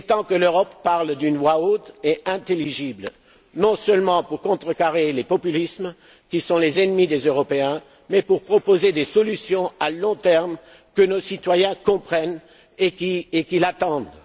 mesures. Il est temps que l'Europe parle d'une voix haute et intelligible, non seulement pour contrecarrer les populismes, qui sont les ennemis des Européens, mais pour proposer des solutions à long terme, que nos citoyens comprennent et qu'ils attendent.